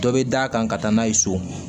Dɔ bɛ d' a kan ka taa n'a ye so